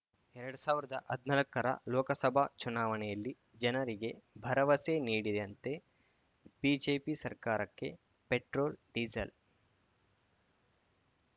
ಎರಡ್ ಸಾವಿರ್ದಾ ಹದ್ನಾಕರ ಲೋಕಸಭಾ ಚುನಾವಣೆಯಲ್ಲಿ ಜನರಿಗೆ ಭರವಸೆ ನೀಡಿದಂತೆ ಬಿಜೆಪಿ ಸರ್ಕಾರಕ್ಕೆ ಪೆಟ್ರೋಲ್‌ ಡಿಸೇಲ್‌